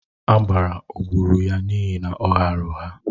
Agbara o gburu ya n'ihi na ọ ghaara ụgha?